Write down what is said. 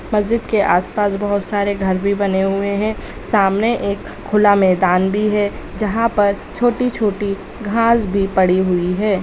मस्जिद के आस-पास बहुत सारे घर भी बने हुए हैं सामने एक खुला मैदान भी है जहाँ पर छोटी-छोटी घांस भी पड़ी हुई है|